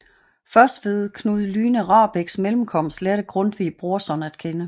Først ved Knud Lyne Rahbeks mellemkomst lærte Grundtvig Brorson at kende